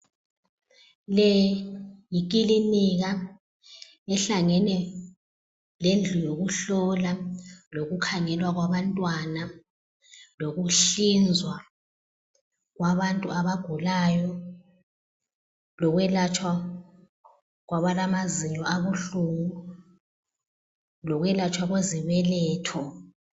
Le yikilinika ehlangene lendlu yokuhlola lokukhangelwa kwabantwana, lokuhlinzwa kwabantu abagulayo, lokwelatshwa kwabalamazinyo abuhlungu ,lokwelatshwa kwezibeletho.